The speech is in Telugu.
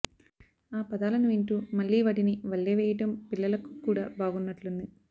ఆ పదాలను వింటూ మళ్లీ వాటిని వల్లెవేయడం పిల్లలకు కూడా బాగున్నట్లుంది